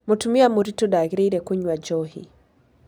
Mũtumia mũritũ ndagĩrĩire kũnyua njohi.